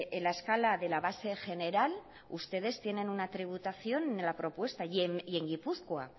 en la escala de la base general ustedes tienen una tributación en la propuesta y en gipuzkoa